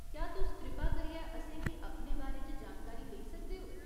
क्या तुस कृपा करियै असेंगी अपने बारे च जानकारी देई सकदे ओ ?